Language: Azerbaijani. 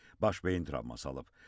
Baş beyin travması alıb.